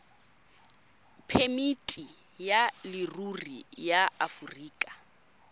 phemiti ya leruri ya aforika